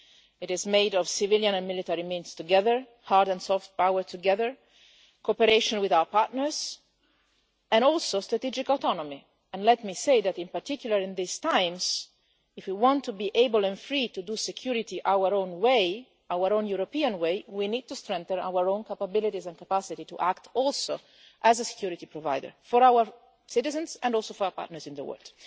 It is made of civilian and military means together, hard and soft power together, cooperation with our partners, and also strategic autonomy. Let me say that, in particular in times such as these, if we want to be able and free to do security in our own European way, we need to strengthen our own capabilities and capacity to act also as a security provider for our citizens, and also for our partners in the world.